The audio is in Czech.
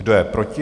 Kdo je proti?